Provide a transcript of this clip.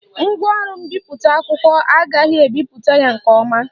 Ngwaọrụ mbipụta akwụkwọ a agaghị ebipụta ya nke ọma